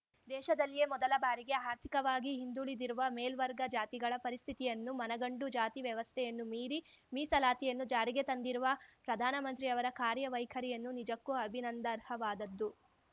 ದೇಶದಲ್ಲಿಯೆ ಮೊದಲ ಬಾರಿಗೆ ಆರ್ಥಿಕವಾಗಿ ಹಿಂದುಳಿದಿರುವ ಮೇಲ್ವರ್ಗ ಜಾತಿಗಳ ಪರಿಸ್ಥಿತಿಯನ್ನು ಮನಗಂಡು ಜಾತಿ ವ್ಯವಸ್ಥೆಯನ್ನು ಮೀರಿ ಮೀಸಲಾತಿಯನ್ನು ಜಾರಿಗೆ ತಂದಿರುವ ಪ್ರಧಾನಮಂತ್ರಿಯವರ ಕಾರ್ಯವೈಖರಿಯನ್ನು ನಿಜಕ್ಕೂ ಅಭಿನಂದರ್ಹವಾದದ್ದು